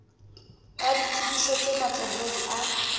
a ditsebiso tse matsohong a